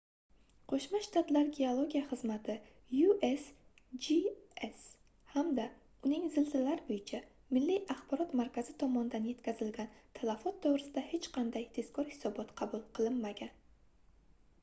qo'shma shtatlar geologiya xizmati usgs hamda uning zilzilalar bo'yicha milliy axborot markazi tomonidan yetkazilgan talafot to'g'risida hech qanday tezkor hisobot qabul qilinmagan